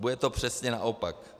Bude to přesně naopak.